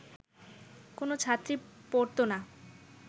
কোনো ছাত্রী পরতো না